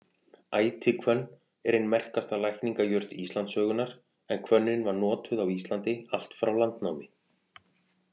Ætihvönn er ein merkasta lækningajurt Íslandssögunnar en hvönnin var notuð á Íslandi allt frá landnámi.